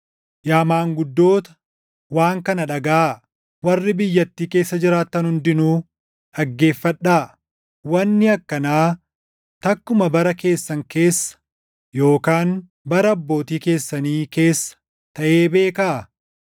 Yaa maanguddoota, waan kana dhagaʼaa; warri biyyattii keessa jiraattan hundinuu dhaggeeffadhaa. Wanni akkanaa takkumaa bara keessan keessa yookaan bara abbootii keessanii keessa taʼee beekaa?